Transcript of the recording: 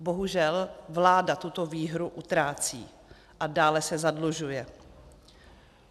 Bohužel vláda tuto výhru utrácí a dále se zadlužuje.